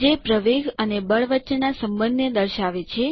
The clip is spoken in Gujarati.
જે પ્રવેગ અને બળ વચ્ચેનાં સંબંધ ને દર્શાવે છે